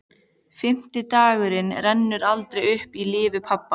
Fimmti dagurinn rennur aldrei aftur upp í lífi pabba.